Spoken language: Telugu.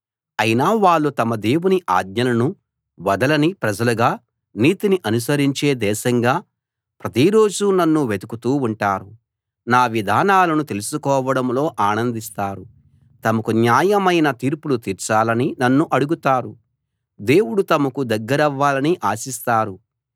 అయినా వాళ్ళు తమ దేవుని ఆజ్ఞలను వదలని ప్రజలుగా నీతిని అనుసరించే దేశంగా ప్రతిరోజూ నన్ను వెతుకుతూ ఉంటారు నా విధానాలను తెలుసుకోవడంలో ఆనందిస్తారు తమకు న్యాయమైన తీర్పులు తీర్చాలని నన్ను అడుగుతారు దేవుడు తమకు దగ్గరవ్వాలని ఆశిస్తారు